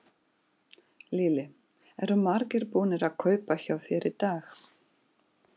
Lillý: Eru margir búnir að kaupa hjá þér í dag?